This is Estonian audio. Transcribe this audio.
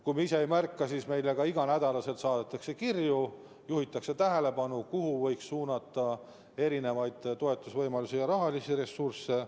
Kui me ise seda ei märka, siis meile saadetakse ka iga nädal kirju ja juhitakse tähelepanu, kus võiks olla toetusvõimalusi ja rahalisi ressursse.